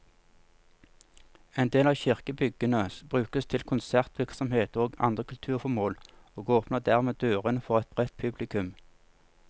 En del av kirkebyggene brukes til konsertvirksomhet og andre kulturformål, og åpner dermed dørene for et bredt publikum.